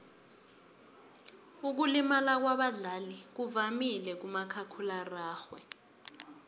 ukulimala kwabadlali kuvamile kumakhakhulararhwe